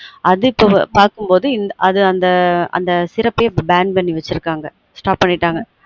அது இப்ப பார்க்கும் போது அது அந்த syrupbann பண்ணி வச்சுருக்காங்க stop பண்ணிட்டாங்க